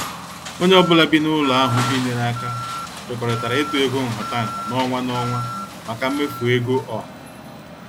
Onye ọ bụla bi n' ụlọ ahụ binyere aka kwekọrịtara ịtụ ego nhataha n' ọnwa n' ọnwa maka mmefu ego ọha.